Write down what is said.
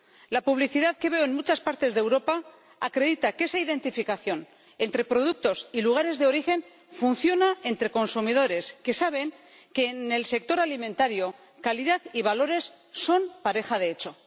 La publicidad que veo en muchas partes de Europa acredita que esa identificación entre productos y lugares de origen funciona entre consumidores, que saben que, en el sector alimentario, calidad y valores son pareja de hecho.